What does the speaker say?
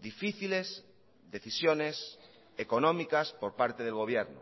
difíciles decisiones económicas por parte del gobierno